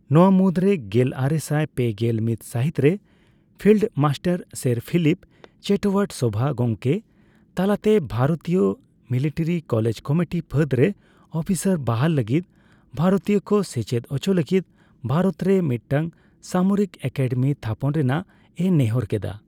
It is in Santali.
ᱱᱚᱣᱟ ᱢᱩᱫᱨᱮ ᱜᱮᱞᱟᱨᱮᱥᱟᱭ ᱯᱮᱜᱮᱞ ᱢᱤᱛ ᱥᱟᱦᱤᱛ ᱨᱮ field marshal sir Philip Chetwode ᱥᱚᱵᱷᱟ ᱜᱚᱢᱠᱮ ᱛᱟᱞᱟᱛᱮ ᱵᱷᱟᱨᱤᱛᱤᱭᱟᱹ ᱢᱤᱞᱤᱴᱟᱨᱤ ᱠᱚᱞᱮᱡᱽ ᱠᱚᱢᱤᱴᱤ ᱯᱷᱟᱹᱫᱽᱨᱮ ᱟᱯᱷᱤᱥᱟᱨ ᱵᱟᱦᱟᱞ ᱞᱟᱜᱤᱫ ᱵᱷᱟᱨᱚᱛᱤᱭᱟᱹ ᱠᱚ ᱥᱮᱪᱮᱫ ᱦᱚᱪᱚ ᱞᱟᱜᱤᱫ ᱵᱷᱟᱨᱚᱛᱨᱮ ᱢᱤᱫᱴᱟᱝ ᱥᱟᱢᱚᱨᱤᱠ ᱮᱠᱟᱰᱮᱢᱤ ᱛᱷᱟᱯᱚᱱ ᱨᱮᱱᱟᱜ ᱮ ᱱᱮᱦᱚᱨ ᱠᱮᱫᱟ ᱾